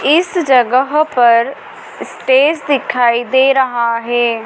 इस जगह पर स्टेज दिखाई दे रहा है।